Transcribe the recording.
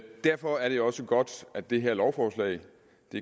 derfor er det også godt at det her lovforslag